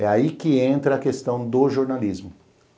É aí que entra a questão do jornalismo.